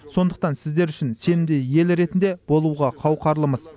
сондықтан сіздер үшін сенімді ел ретінде болуға қауқарлымыз